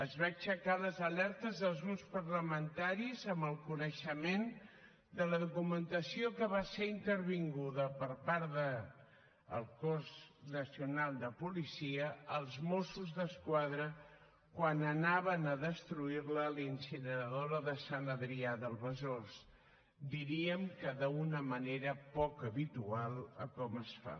es van aixecar les alertes dels grups parlamentaris amb el coneixement de la documentació que va ser intervinguda per part del cos nacional de policia als mossos d’esquadra quan anaven a destruir la a la incineradora de sant adrià del besòs diríem que d’una manera poc habitual a com es fa